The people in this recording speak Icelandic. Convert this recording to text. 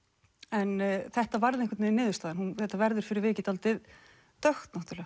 en þetta varð einhvern veginn niðurstaðan þetta verður fyrir vikið dálítið dökkt náttúrulega